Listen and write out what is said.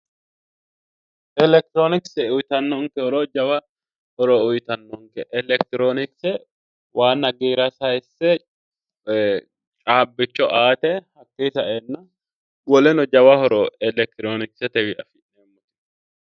Elekitiroonikise jawa horo uuyitannonke elekitironikise waanna giira sayise caabbicho aate woleno jawa hedo elekitironikise widoonni..